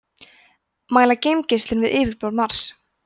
mæla geimgeislun við yfirborð mars